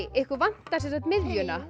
ykkur vantar sem sagt miðjuna